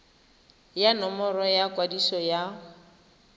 ya nomoro ya kwadiso ya